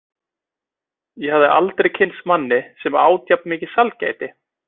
Ég hafði aldrei kynnst manni sem át jafn mikið sælgæti.